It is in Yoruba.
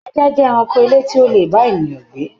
Ajá jẹ ẹranko ilé tí o lè bá ènìyàn gbé.